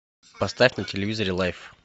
поставь на телевизоре лайв